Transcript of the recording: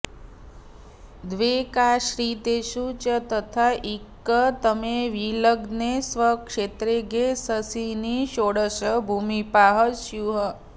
द्व्येकाश्रितेषु च तथाइकतमे विलग्ने स्व क्षेत्रगे शशिनि षोडश भूमिपाः स्युः